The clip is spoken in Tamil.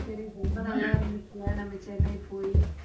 ரொம்ப நல்லா இருந்துச்சு இல்லை நம்ம சென்னை போயி